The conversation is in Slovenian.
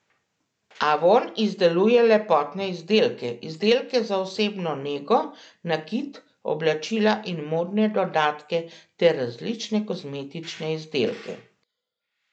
Avon izdeluje lepotne izdelke, izdelke za osebno nego, nakit, oblačila in modne dodatke ter različne kozmetične izdelke.